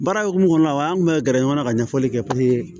Baara hukumu kɔnɔna la an tun bɛ gɛrɛ ɲɔgɔn na ka ɲɛfɔli kɛ